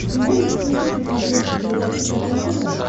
ты можешь включить на смотрешке передачу квн тв